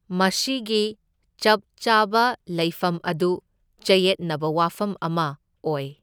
ꯃꯁꯤꯒꯤ ꯆꯞ ꯆꯥꯕ ꯂꯩꯐꯝ ꯑꯗꯨ ꯆꯌꯦꯠꯅꯕ ꯋꯥꯐꯝ ꯑꯃ ꯑꯣꯏ꯫